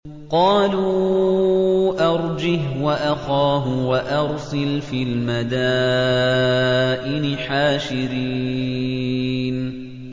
قَالُوا أَرْجِهْ وَأَخَاهُ وَأَرْسِلْ فِي الْمَدَائِنِ حَاشِرِينَ